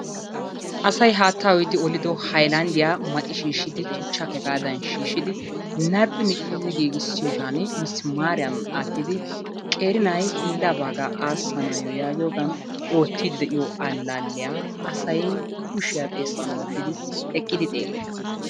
Asay haattaa uyidi olido haylanddiyaa maxi shiishshidi tuchchaakka hegaadan shiishshidi narphphi nicicidi gigissiyogan misimaariyan aattidi qeeri na'ay hiillaa baagaa aassanaayyo yaagiyogaan oottiidi de'iyo allaaliya asay kushiya xeessan wottidi eqqidi xeellees.